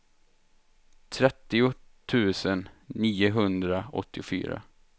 trettio tusen niohundraåttiofyra